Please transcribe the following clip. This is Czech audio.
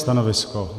Stanovisko?